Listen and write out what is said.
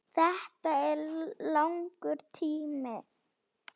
Þetta er langur tími.